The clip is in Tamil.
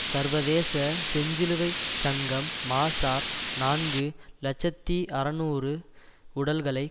சர்வதேச செஞ்சிலுவை சங்கம் மாஸார் நான்கு இலட்சத்தி அறுநூறு உடல்களை